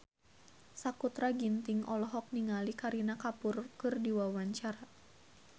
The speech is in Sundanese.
Sakutra Ginting olohok ningali Kareena Kapoor keur diwawancara